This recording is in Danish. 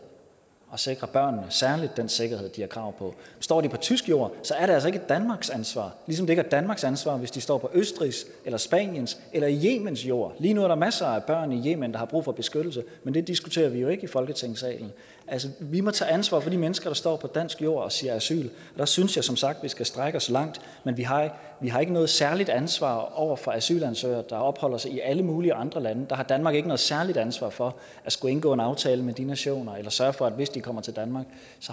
og sikre særlig den sikkerhed de har krav på står de på tysk jord er det altså ikke danmarks ansvar ligesom det ikke er danmarks ansvar hvis de står på østrigs eller spaniens eller yemens jord lige nu er der masser af børn i yemen der har brug for beskyttelse men det diskuterer vi jo ikke i folketingssalen vi må tage ansvar for de mennesker der står på dansk jord og siger asyl der synes jeg som sagt at vi skal strække os langt men vi har har ikke noget særligt ansvar over for asylansøgere der opholder sig i alle mulige andre lande der har danmark ikke noget særligt ansvar for at skulle indgå en aftale med de nationer eller sørge for at hvis de kommer til danmark